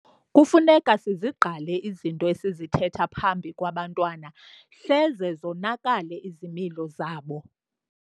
Kufuneka sizigqale izinto esizithetha phambi kwabantwana hleze zonakale izimilo zabo.